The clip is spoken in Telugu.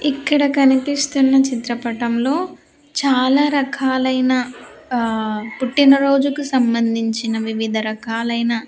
ఇక్కడ కనిపిస్తున్న చిత్రపటంలో చాలా రకాలైన ఆ పుట్టిన రోజుకు సంబంధించిన వివిధ రకాలైన.